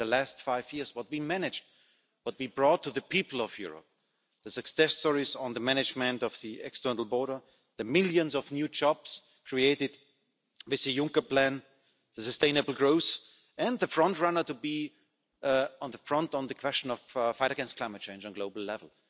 In the last five years what we managed, what we have brought to the people of Europe, the success stories on management of the external border, the millions of new jobs created with the Juncker Plan, the sustainable growth and the front runner to be at the front on the question of the fight against climate change on a global level.